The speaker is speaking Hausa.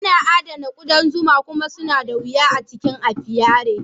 Ana adana ƙudan zuma kuma suna da wuya a cikin apiary.